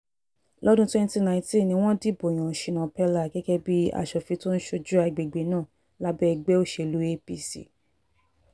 lọ́dún 2019 ni wọ́n dìbò yan shina peller gẹ́gẹ́ bíi asòfin tó ń ṣojú àgbègbè náà lábẹ́ ẹgbẹ́ òṣèlú apc